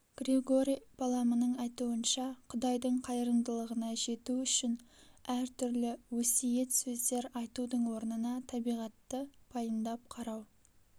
григорий паламының айтуынша құдайдың қайырымдылығына жету үшін әр түрлі өсиет сөздер айтудың орнына табиғатты пайымдап қарау